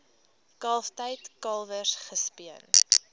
kalftyd kalwers gespeen